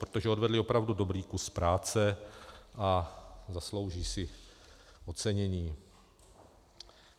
Protože odvedli opravdu dobrý kus práce a zaslouží si ocenění.